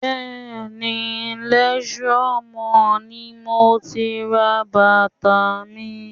Bẹ́ẹ̀ni, Leisure Mall ni mo ti ra bàtà mi